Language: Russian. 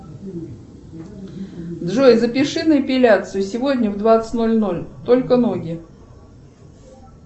джой запиши на эпиляцию сегодня в двадцать ноль ноль только ноги